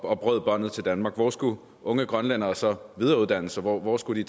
og brød båndene til danmark hvor skulle unge grønlændere så videreuddanne sig hvor skulle de